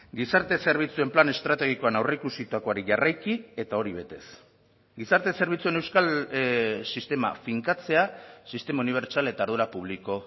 gizarte zerbitzuen plan estrategikoan aurreikusitakoari jarraiki eta hori betez gizarte zerbitzuen euskal sistema finkatzea sistema unibertsal eta ardura publiko